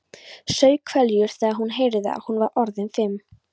Saup hveljur þegar hún heyrði að hún var orðin fimm.